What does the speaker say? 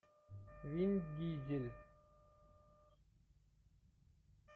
вин дизель